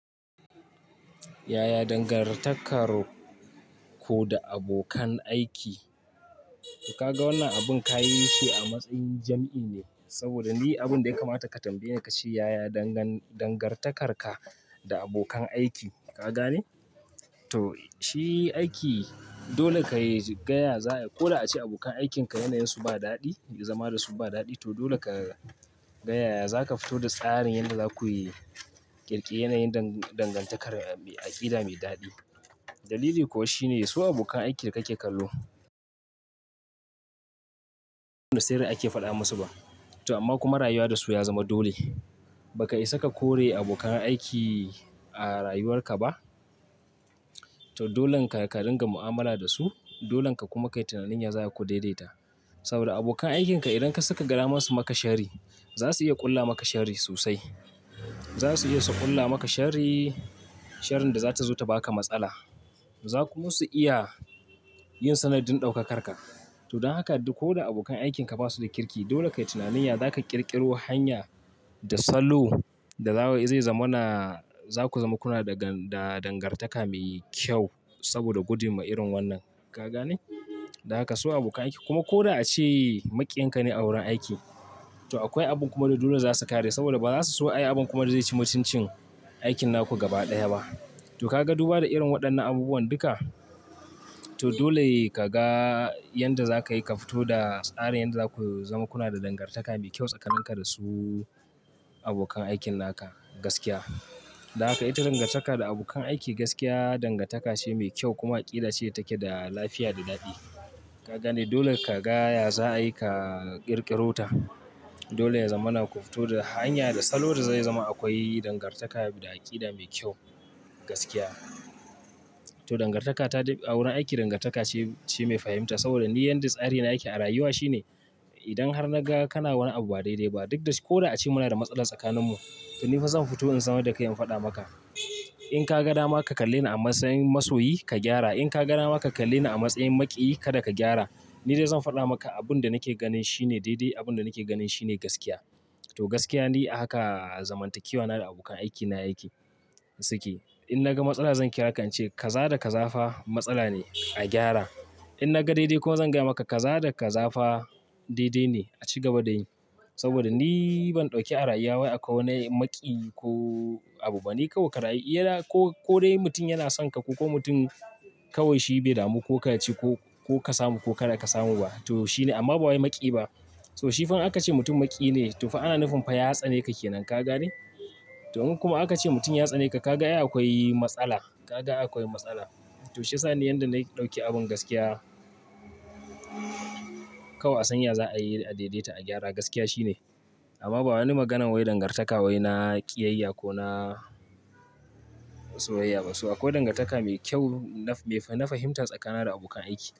Yaya dangar takar ku da abokan aiki? To ka ga wannan abun ka yi shi a matsayin jam'i ne saboda ni abun da ya kamata ka tambayi, ka ce yaya dangan dangartakar ka da abokan aiki. Ka gane? To shi aiki dole ka yi gaya za'ai ko da ace abokan aikinka yanayin su ba daɗi, zama da su ba daɗi, to dole ka gaya za ka fito da tsarin yadda za ku yi ƙirƙire yanayin dan dangantakar aƙida mai daɗi. Dalili kuwa shine su abokan aiki da kake kallo, da sirri ake faɗa musu ba. To amma kuma rayuwa da su ya zama dole. Baka isa ka kore abokan aiki a rayuwarka ba. To dolen ka ringa mu'amala da su. Dolen ka kuma kai tunanin ya za'ai ku daidaita. Saboda abokan aikin ka idan ka suka gara masu maka sharri, za su iya ƙulla maka sharri sosai. Za su iya su ƙulla maka sharri, sharrin da za ta zo ta baka matsala. Za ku masu iya yin sanadin ɗaukakarka. To don haka duk ko da abokan aikin ka basu da kirki, dole ka yi tunanin ya za ka ƙirƙiro hanya da salo da za zai zama na, za ku zama kuna da gan da dangartaka mai kyau saboda gudun ma'irin wannan. Ka gane? Don haka su abokan aiki kuma ko da ace maƙiyin ka ne a wurin aiki, to akwai abun kuma da dole za su kare saboda ba za su so ayi abun kuma da zai ci mutuncin aikin naku gaba ɗaya ba. To ka ga duba da irin waɗannan abubuwan duka? To dole ka ga yanda za ka yi ka fito da tsarin yadda za ku zama kuna da dangartaka mai kyau tsakanin ka da su abokan aikin naka. Gaskiya. Don haka ita dangantaka da abokan aiki gaskiya dangantaka ce mai kyau kuma aƙida ce take da lafiya da daɗi. Ka gane? Dole ka gaya za ayi ka ƙirƙiro ta. Dole ya zama na ku fito da hanya da salo da zai zama akwai dangartaka da aƙida mai kyau. Gaskiya. To dangartaka ta dai a wurin aiki dangartaka ce, ce mai fahimta saboda ni yanda tsarina a rayuwa shine. Idan har na ga kana wani abu ba daidai ba duk da ko da a ce muna da matsala tsakaninmu, to ni fa zan fito in zama da kai in faɗa maka. In ka ga dama ka kalle ni a matsayin masoyi ka gyara. In ka ga dama ka kalle ni a matsayin maƙiyi kada ka gyara. Ni dai zan faɗa maka abun da nake ganin shine daidai. Abun da nake ganin shine gaskiya. To gaskiya ni a haka zamantakewa na da abokan aiki na yake suke. In na ga matsala zan kira ka in ce ka za da ka zafa matsala ne a gyara. In na ga daidai kuma zan gaya maka ka za da ka zafa daidai ne a ci gaba da yin. Saboda ni ban ɗauke a rayuwa akwai wani maƙiyi ko abu ba. Ni kawai ka rayu. Either ko ko dai mutum yana son ka ko mutum kawai shi bai damu ko ka ci ko ka samu ko kada ka samu ba. To shine amma ba wai maƙiyi ba. To shi fa in aka ce mutum maƙiyi ne to fa ana nufin fa ya tsane ka ke nan. Ka gane? To in kuma aka ce mutum ya tsane ka, ka ga ai akwai matsala. Ka ga akwai matsala. To shi yasani yanda nai ɗauki abin gaskiya. Kawai a sanya za a yi a daidaita a gyara. Gaskiya shine. Amma ba wani maganan wai dangartaka wai na ƙiyayya ko na soyayya ba. So akwai dangartaka mai kyau na mai na fahimta tsakanina da abokan aiki.